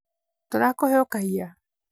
tũrakũhe ũkaiya?